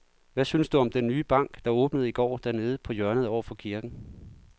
Hvad synes du om den nye bank, der åbnede i går dernede på hjørnet over for kirken?